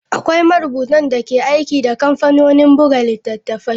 Akwai marubutan da ke aiki da kamfanonin buga littattafai.